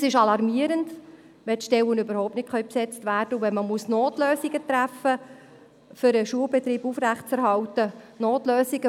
Es ist alarmierend, wenn die Stellen überhaupt nicht besetzt werden können und man Notlösungen treffen muss, um den Schulbetrieb aufrechterhalten zu können.